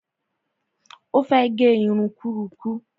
Ó fẹ́ gẹ irun kúrurú